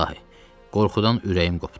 İlahi, qorxudan ürəyim qopdu.